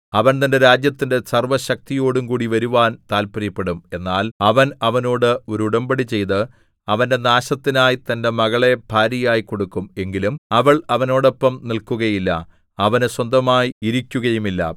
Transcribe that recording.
അവൻ തന്റെ രാജ്യത്തിന്റെ സർവ്വ ശക്തിയോടുംകൂടി വരുവാൻ താത്പര്യപ്പെടും എന്നാൽ അവൻ അവനോട് ഒരു ഉടമ്പടി ചെയ്ത് അവന്റെ നാശത്തിനായി തന്റെ മകളെ ഭാര്യയായി കൊടുക്കും എങ്കിലും അവൾ അവനോടൊപ്പം നില്‍ക്കുകയില്ല അവന് സ്വന്തമായി ഇരിക്കുകയുമില്ല